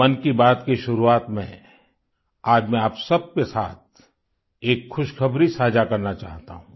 मन की बात की शुरुआत में आज मैं आप सबके साथ एक खुशखबरी साझा करना चाहता हूँ